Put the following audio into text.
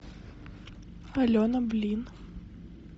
алена блин